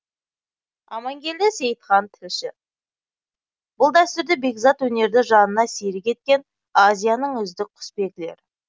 амангелді сейітхан тілші бұл дәстүрлі бекзат өнерді жанына серік еткен азияның үздік құсбегілері